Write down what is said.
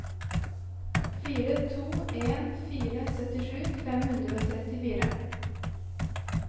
fire to en fire syttisju fem hundre og trettifire